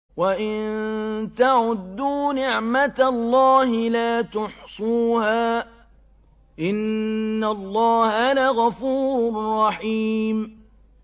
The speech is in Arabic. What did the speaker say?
وَإِن تَعُدُّوا نِعْمَةَ اللَّهِ لَا تُحْصُوهَا ۗ إِنَّ اللَّهَ لَغَفُورٌ رَّحِيمٌ